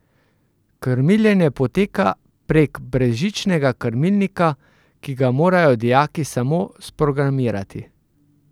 Krmiljenje poteka prek brezžičnega krmilnika, ki ga morajo dijaki samo sprogramirati.